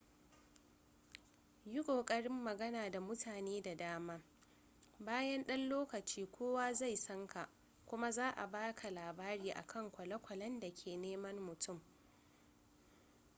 yi ƙoƙarin magana da mutane da dama bayan ɗan lokaci kowa zai san ka kuma za a baka labari akan kwale-kwalen da ke neman mutum